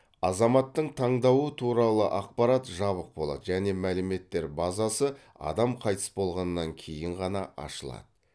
азаматтың таңдауы туралы ақпарат жабық болады және мәліметтер базасы адам қайтыс болғаннан кейін ғана ашылады